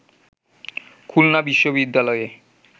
খুলনা বিশ্ববিদ্যালয়ে